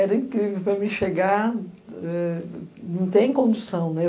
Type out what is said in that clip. Era incrível para mim chegar, não tem condução, né?